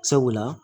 Sabula